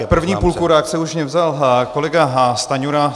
Tak první půlku reakce už mně vzal kolega Stanjura.